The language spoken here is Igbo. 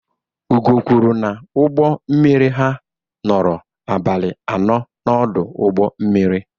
Ugo kwuru na ụgbọ mmiri ha nọrọ abalị anọ n'ọdụ ụgbọ mmiri.